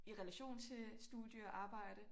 I relation til studie og arbejde